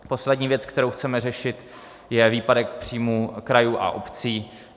Poslední věc, kterou chceme řešit, je výpadek příjmů krajů a obcí.